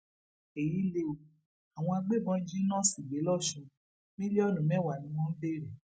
èyí lè o àwọn agbébọn jí nọọsì gbé lọsun mílíọnù mẹwàá ni wọn ń béèrè